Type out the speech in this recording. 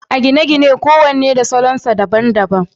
a gine-gine kowane da salon sa daban daban